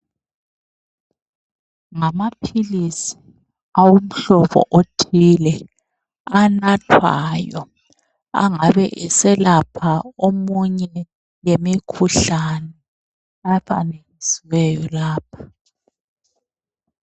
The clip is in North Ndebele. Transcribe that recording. Ngamaphilisi awomhlobo othile anathwayo angabe eselapha eminye yemikhuhlane ebalisiweyo lapha.